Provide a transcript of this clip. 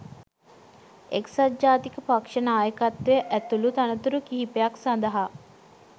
එක්සත් ජාතික පක්ෂ නායක්වය ඇතුළු තනතුරු කිහිපයක් සඳහා